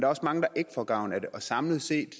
også mange der ikke får gavn af det og samlet set